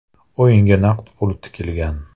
O‘yinga naqd pul tikilgan.